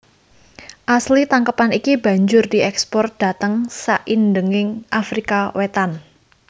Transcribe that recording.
Asil tangkepan iki banjur dièkspor dhateng saindhenging Afrika Wétan